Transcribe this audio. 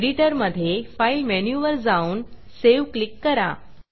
एडिटरमधे Fileफाइल मेनूवर जाऊन Saveसेव क्लिक करा